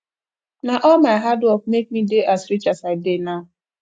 na all my hard work make me dey as rich as i dey now